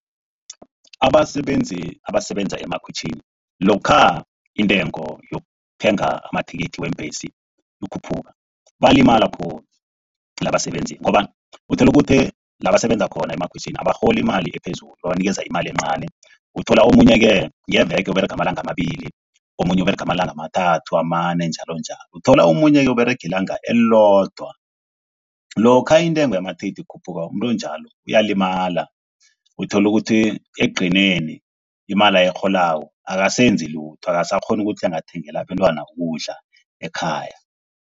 Abasebenzi abasebenza emakhitjhini lokha intengo yokuthenga amathikithi wembesi ikhuphuka, balima khulu abasebenzi ngombana uthola ukuthi la basebenza khona emakhwitjhini abarholi imali ephezulu. Babanikeza imali encani uthola omunye-ke ngeveke uberega amalanga amabili, omunye uberega amalanga amathathu amane njalonjalo. Uthola omunye uberega ilanga elilodwa. Lokha intengo yamathikithi ikhuphuka umuntu onjalo uyalimala. Uthola ukuthi ekugcineni imali ayirholako akasenzi lutho akasakghoni ukuthi angathengela abentwana ukudla ekhaya.